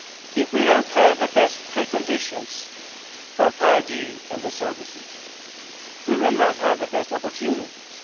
If we do not have the best preconditions for 5G and the services, then we will not have the best opportunities.